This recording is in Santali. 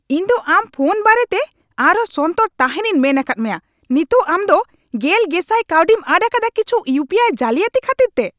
ᱤᱧ ᱫᱚ ᱟᱢ ᱯᱷᱳᱱ ᱵᱟᱨᱮᱛᱮ ᱟᱨᱦᱚᱸ ᱥᱚᱱᱛᱚᱨ ᱛᱟᱦᱮᱸᱱᱤᱧ ᱢᱮᱱ ᱟᱠᱟᱫ ᱢᱮᱭᱟ ᱾ ᱱᱤᱛᱚᱜ ᱟᱢ ᱫᱚ ᱑᱐᱐᱐᱐ ᱠᱟᱹᱣᱰᱤᱢ ᱟᱫ ᱟᱠᱟᱫᱟ ᱠᱤᱪᱷᱩ ᱤᱭᱩᱯᱤᱟᱭ ᱡᱟᱹᱞᱤᱭᱟᱛ ᱠᱷᱟᱹᱛᱤᱨᱛᱮ ᱾